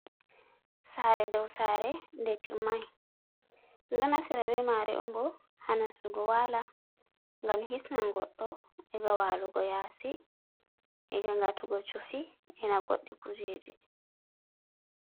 Sare dow sare ɗe timmai. Ɗum ɗo naftira be mare on bo ha nassugo wala ngam hisnan goɗɗo e'ga walugo yasi e'ga ngatugo chufi, ina goɗɗi kujeji.